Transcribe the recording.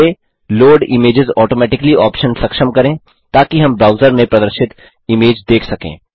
पहले load images automaticallyऑप्शन सक्षम करें ताकि हम ब्राउज़र में प्रदर्शित इमेज देख सकें